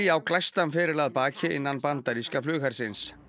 á glæstan feril að baki innan bandaríska flughersins